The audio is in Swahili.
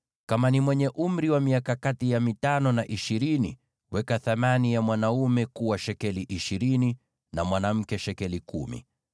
Kama ni mtu mwenye umri wa miaka kati ya mitano na ishirini, weka thamani ya mwanaume kuwa shekeli ishirini, na mwanamke shekeli kumi.